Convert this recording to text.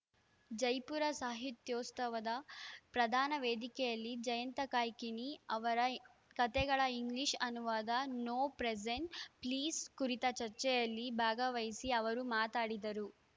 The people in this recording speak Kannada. ಜೈಪುರ ಸಾಹಿತ್ಯೋತ್ಸವದ ಪ್ರಧಾನ ವೇದಿಕೆಯಲ್ಲಿ ಜಯಂತ ಕಾಯ್ಕಿಣಿ ಅವರ ಕತೆಗಳ ಇಂಗ್ಲಿಷ್‌ ಅನುವಾದ ನೋ ಪ್ರೆಸೆಂಟ್ಸ್‌ ಪ್ಲೀಸ್‌ ಕುರಿತ ಚರ್ಚೆಯಲ್ಲಿ ಭಾಗವಹಿಸಿ ಅವರು ಮಾತಾಡಿದರು